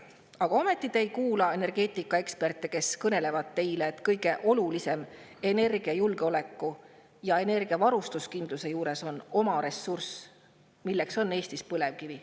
Aga ometi te ei kuula energeetikaeksperte, kes kõnelevad teile, et kõige olulisem on energiajulgeoleku ja energiavarustuskindluse juures oma ressurss, milleks on Eestis põlevkivi.